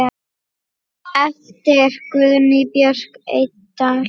eftir Guðnýju Björk Eydal